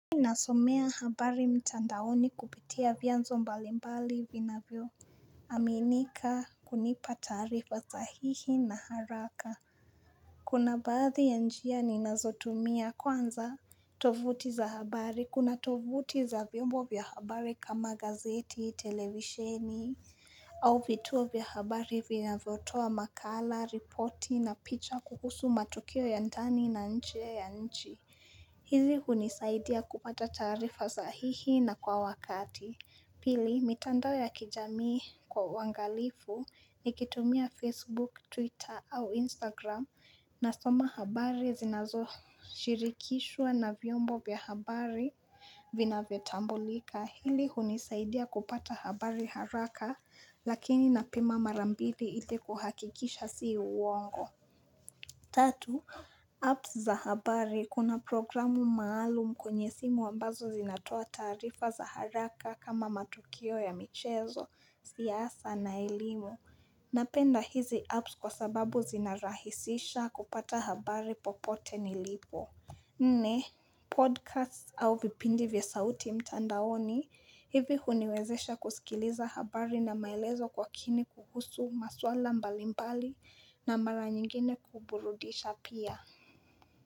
Nasomea habari mtandaoni kupitia vyanzo mbalimbali vinavyo aminika kunipa taarifa sahihi na haraka Kuna baadhi ya njia ninazotumia kwanza tovuti za habari kuna tovuti za vyombo vya habari kama gazeti, televisheni au vituo vya habari vinavyotoa makala, ripoti na picha kuhusu matukio ya ndani na nje ya nchi hizi hunisaidia kupata taarifa sahihi na kwa wakati. Pili, mitandao ya kijamii kwa uangalifu, nikitumia Facebook, Twitter au Instagram nasoma habari zinazoshirikishwa na vyombo vya habari vinavyotambulika. Hili hunisaidia kupata habari haraka lakini napima mara mbili ili kuhakikisha si uwongo. Tatu, apps za habari kuna programu maalum kwenye simu ambazo zinatoa taarifa za haraka kama matukio ya michezo, siasa na elimu. Napenda hizi apps kwa sababu zinarahisisha kupata habari popote nilipo. Nne podcast au vipindi vya sauti mtandaoni hivi huniwezesha kusikiliza habari na maelezo kwa kini kuhusu maswala mbalimbali na mara nyingine kuburudisha pia.